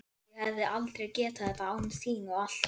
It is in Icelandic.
Ég hefði aldrei getað þetta án þín og allt það.